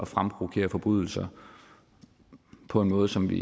fremprovokere forbrydelser på en måde som vi